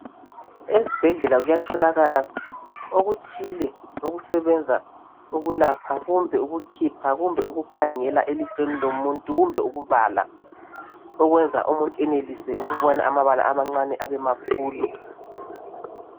Ezibhedlela kuyatholakala okuthile okusebenza ukulapha, ukukhipha, ukukhangela elihlweni lomuntu kumbe ukubala okwenza umuntu enelise ukubona amabala amancane abemakhulu.